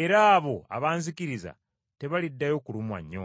era abo abanzikiriza tebaliddayo kulumwa nnyonta.